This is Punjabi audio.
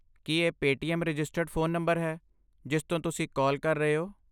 ਕੀ ਇਹ ਪੇਟੀਐੱਮ ਰਜਿਸਟਰਡ ਫ਼ੋਨ ਨੰਬਰ ਹੈ ਜਿਸ ਤੋਂ ਤੁਸੀਂ ਕਾਲ ਕਰ ਰਹੇ ਹੋ?